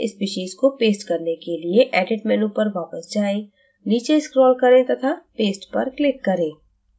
species को paste करने के लिए edit menu पर वापस जाएं नीचे scroll करें to paste पर click करें